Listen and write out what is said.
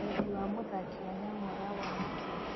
Wendi wa mũthaki Wanyama ũrawona atĩa?